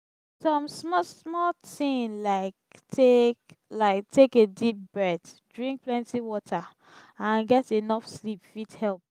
some small small thing like take like take a deep breath drink plenty water and get enough sleep fit help.